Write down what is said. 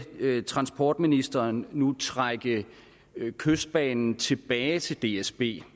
transportministeren nu trække kystbanen tilbage til dsb